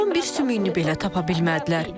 Oğlumun bir sümüyünü belə tapa bilmədilər.